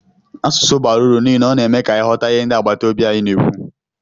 Asụsụ bara uru n'ihi na ọ na-eme ka anyị ghọta ihe ndị agbataobi anyị na-ekwu.